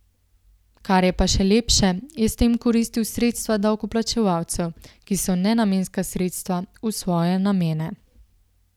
Kar je pa še lepše, je s tem koristil sredstva davkoplačevalcev, ki so nenamenska sredstva, v svoje namene.